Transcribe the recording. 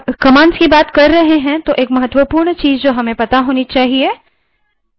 जब commands की बात कर रहे हैं तो एक महत्वपूर्ण चीज़ जो हमें पता होनी चाहिए